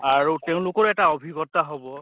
আৰু তেওঁলোকৰ এটা অভিজ্ঞ্তা হʼব